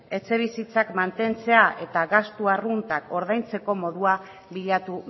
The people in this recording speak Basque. etxebizitzak mantentzea eta gastu arruntak ordaintzeko modua bilatu